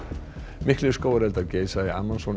miklir skógareldar geisa í Amazon